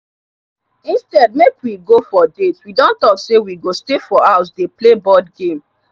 instead make we go for date we don talk say we go stay for house dey play board game.